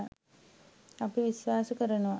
අපි විශ්වාස කරනවා.